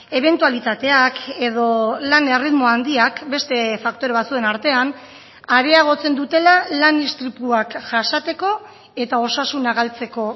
ebentualitateak edo lan erritmo handiak beste faktore batzuen artean areagotzen dutela lan istripuak jasateko eta osasuna galtzeko